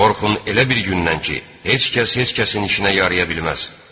Qorxun elə bir gündən ki, heç kəs heç kəsin işinə yaraya bilməz.